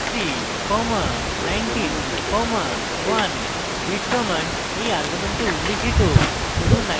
read command এই argument উল্লিখিত file থেকে শুধু 19 ডেটা ভ্যালুই পড়ে